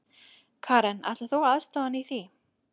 Karen: Ætlar þú að aðstoða hann í því?